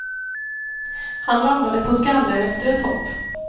Han landade på skallen efter ett hopp.